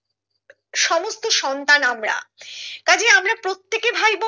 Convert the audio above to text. সমস্ত সন্তান আমরা কাজে আমরা প্রত্যেকে ভাইবোন